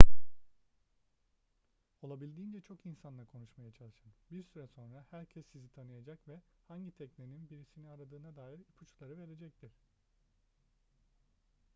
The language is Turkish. olabildiğince çok insanla konuşmaya çalışın bir süre sonra herkes sizi tanıyacak ve hangi teknenin birisini aradığına dair ipuçları verecektir